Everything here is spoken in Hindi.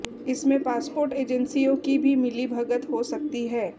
इसमें पासपोर्ट एजेंसियों की भी मिलीभगत हो सकती है